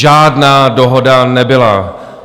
Žádná dohoda nebyla.